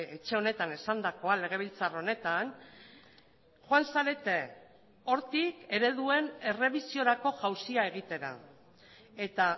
etxe honetan esandakoa legebiltzar honetan joan zarete hortik ereduen errebisiorako jauzia egitera eta